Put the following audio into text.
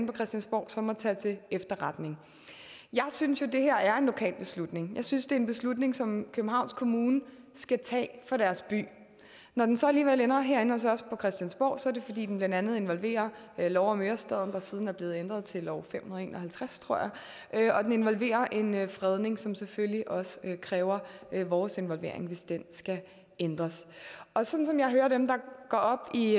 på christiansborg så må tage til efterretning jeg synes jo at det her er en lokal beslutning jeg synes det er en beslutning som københavns kommune skal tage for deres by når den så alligevel ender herinde hos os på christiansborg er det fordi den blandt andet involverer lov om ørestaden der siden er blevet ændret til lov fem hundrede og en og halvtreds tror jeg og involverer en en fredning som selvfølgelig også kræver vores involvering altså hvis den skal ændres og sådan som jeg hører dem der går op i